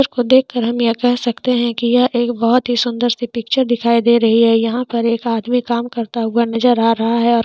उसको देख कर हम यह कह सकते है कि यह एक बहुत ही सुंदर सी पिक्चर दिखाई दे रही है यहाँ पर एक आदमी काम करता हुआ नजर आ रहा है और--